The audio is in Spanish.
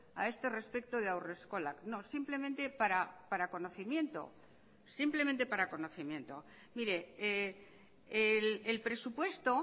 a este respecto de haurreskolak no simplemente para conocimiento simplemente para conocimiento mire el presupuesto